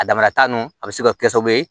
A damanata nunnu a bɛ se ka kɛ sababu ye